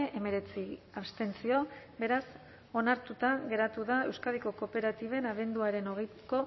hemeretzi abstentzio beraz onartuta geratu da euskadiko kooperatiben abenduaren hogeiko